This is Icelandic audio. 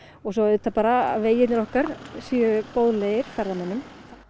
og svo auðvitað bara að vegirnir okkar séu boðlegir ferðamönnum